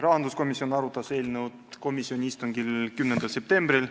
Rahanduskomisjon arutas eelnõu komisjoni istungil 10. septembril.